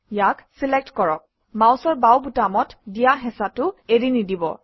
ইয়াক চিলেক্ট কৰক মাউচৰ বাওঁ বুটামত দিয়া হেঁচাটো এৰি নিদিব